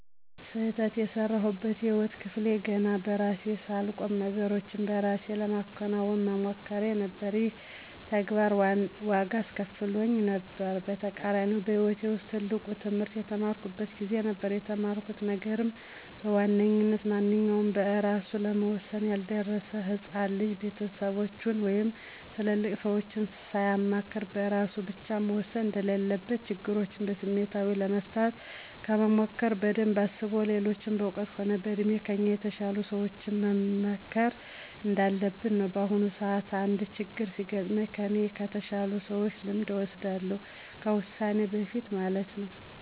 ስህተት የሰራሁበት የህይወት ክፍሌ ገና በራሴ ሳልቆም ነገሮችን በእራሴ ለማከናወን መሞከሬ ነበር። ይሄም ተግባር ዋጋ አስከፍሎኝ ነበር። በተቃራኒውም በህይወቴ ውስጥ ትልቁን ትህምርት የተማርኩት ጊዜ ነበር። የተማርኩት ነገርም በዋነኝነት ማንኛውም በእራሱ ለመወሠን ያልደረሰ ህፃን ልጅ ቤተሰቦቹን ወይም ትልልቅ ሰዎችን ሳያማክር በእራሱ ብቻ መወሰን እንደሌለበት፤ ችግሮችን በስሜታዊነት ለመፍታት ከመሞከር በደንብ አስቦ ሌሎች በእውቀት ሆነ በእድሜ ከእኛ በተሻሉ ሰዎች መመከር እንዳለብን ነው። በአሁኑም ሰዓት አንድ ችግር ሲገጥመኝ ከኔ ከተሻሉ ሰዎች ልምድን እወስዳለሁ ከዉሳኔ በፊት ማለት ነው።